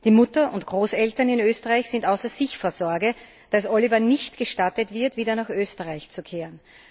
Die Mutter und Großeltern in Österreich sind außer sich vor Sorge, dass Oliver nicht gestattet wird, wieder nach Österreich zurückzukehren.